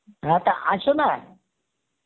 হ্যাঁ তা আসনা